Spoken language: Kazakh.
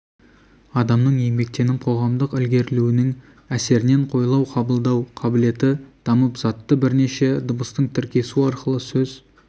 адамның еңбектеніп қоғамдық ілгерілеуінің әсерінен ойлау қабылдау қабілеті дамып затты бірнеше дыбыстың тіркесуі арқылы сөз